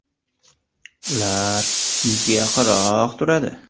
Ular yuzga yaqinroq turadi.